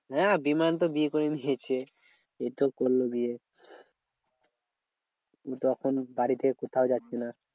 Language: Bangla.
হ্যাঁ বিমান তো বিয়ে করে নিয়েছে এই তো করলো বিয়ে। এখন বাড়ি থেকে কোথাও যাচ্ছে না।